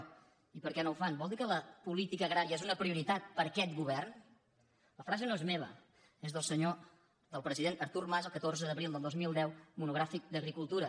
i per què no ho fan vol dir que la política agrària és una prioritat per aquest govern la frase no és meva és del president artur mas el catorze d’abril del dos mil deu monogràfic d’agricultura